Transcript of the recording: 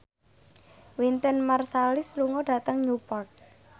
Wynton Marsalis lunga dhateng Newport